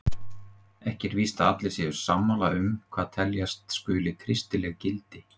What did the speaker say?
Ekki er víst að allir séu sammála um hvað teljast skuli kristileg gildi.